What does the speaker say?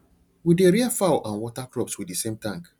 we dey rear fowl and water crops with the same tank